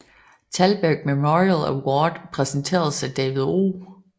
Thalberg Memorial Award præsenteret af David O